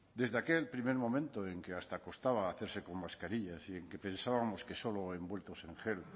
desde aquel primer momento en que hasta costaba hacerse con mascarillas y en que pensábamos que solo envueltos en gel